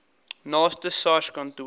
naaste sars kantoor